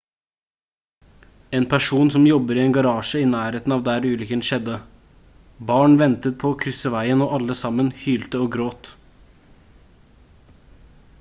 en person som jobber i en garasje i nærheten av der ulykken skjedde: «barn ventet på å krysse veien og alle sammen hylte og gråt»